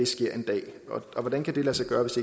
sker en dag og hvordan kan det lade sig gøre hvis